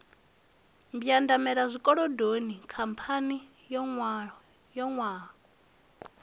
mbwandamela zwikolodoni khamphani yo nwaho